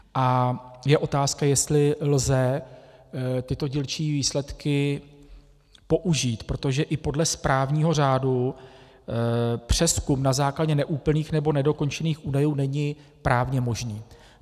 A je otázka, jestli lze tyto dílčí výsledky použít, protože i podle správního řádu přezkum na základě neúplných nebo nedokončených údajů není právně možný.